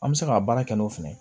An bɛ se ka baara kɛ n'o fɛnɛ ye